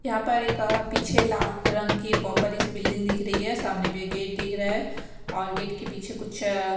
यहां पर एक पीछे लाल रंग की बड़ी सी बिल्डिंग दिख रही है सामने भी गेट दिख रहा है के पीछे कुछ--